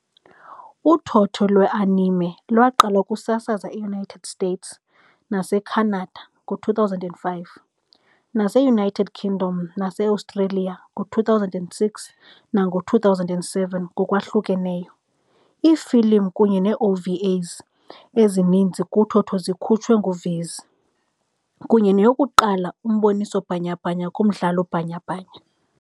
Uthotho lwe-anime lwaqala ukusasaza e-United States nase-Canada ngo-2005, nase-United Kingdom nase-Australia ngo-2006 nango-2007 ngokwahlukeneyo. Iifilimu kunye nee-OVAs ezininzi kuthotho zikhutshwe nguViz, kunye neyokuqala umboniso bhanyabhanya kumdlalo bhanyabhanya.